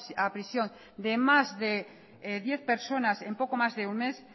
a prisión de más de diez personas en poco más de un mes